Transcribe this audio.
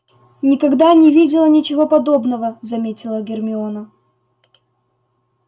никогда не видела ничего подобного заметила гермиона